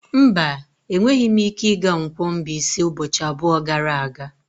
Mba, enweghị m ike ịga Nkwo-Mbaise ụbọchị abụọ gara aga.